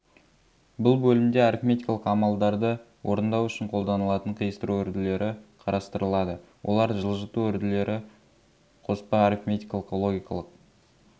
бұл бөлімде арифметикалық амалдарды орындау үшін қолданылатын қиыстыру үрділері қарастырылады олар жылжыту үрділері қоспа арифметикалық логикалық